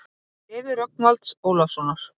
Úr bréfi Rögnvalds Ólafssonar